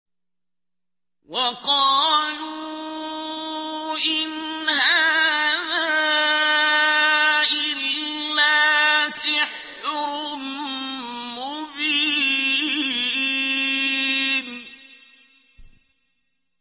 وَقَالُوا إِنْ هَٰذَا إِلَّا سِحْرٌ مُّبِينٌ